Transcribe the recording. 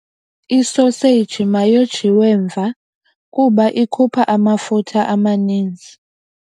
Isoseji mayojiwe mva kuba ikhupha amafutha amaninzi.